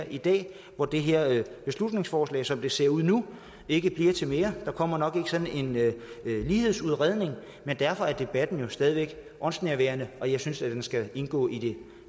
i dag hvor det her beslutningsforslag som det ser ud nu ikke bliver til mere der kommer nok ikke sådan en lighedsudredning men derfor er debatten jo stadig væk åndsnærværende og jeg synes at den skal indgå i det